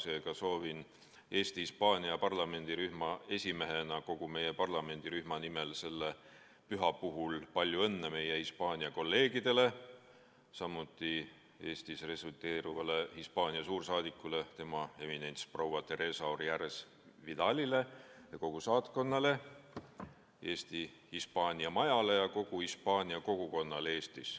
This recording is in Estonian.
Seega soovin Eesti-Hispaania parlamendirühma esimehena kogu meie parlamendirühma nimel selle püha puhul palju õnne meie Hispaania kolleegidele, samuti Eestis resideeruvale Hispaania suursaadikule, tema ekstsellents proua Teresa Orjales Vidalile ja kogu saatkonnale, Eesti Hispaania majale ja kogu Hispaania kogukonnale Eestis.